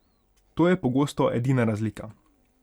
To je pogosto edina razlika.